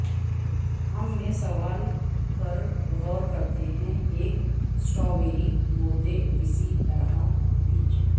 ہم میں سوال پر غور کرتے ہیں ایک سٹرابیری بوتے کس طرح بیج